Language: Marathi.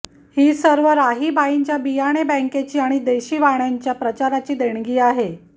ही सर्व राहीबाईंच्या बियाणे बँकेची आणि देशी वाणांच्या प्रचाराची देणगी आहे